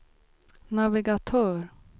navigatör